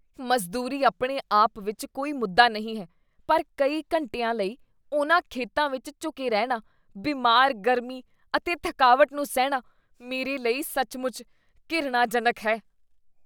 ਮਜ਼ਦੂਰੀ ਆਪਣੇ ਆਪ ਵਿੱਚ ਕੋਈ ਮੁੱਦਾ ਨਹੀਂ ਹੈ, ਪਰ ਕਈ ਘੰਟਿਆਂ ਲਈ ਉਹਨਾਂ ਖੇਤਾਂ ਵਿੱਚ ਝੁਕੇ ਰਹਿਣਾ, ਬਿਮਾਰ ਗਰਮੀ ਅਤੇ ਥਕਾਵਟ ਨੂੰ ਸਹਿਣਾ, ਮੇਰੇ ਲਈ ਸੱਚਮੁੱਚ ਘਿਰਣਾਜਨਕ ਹੈ।